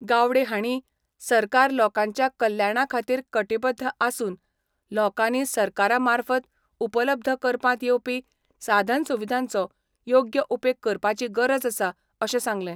गावडे हांणी सरकार लोकांच्या कल्याणा खातीर कटीबद्द आसून लोकांनी सरकारा मार्फत उपलब्ध करपांत येवपी साधन सुविधांचो योग्य उपेग करपाची गरज आसा अशें सांगलें.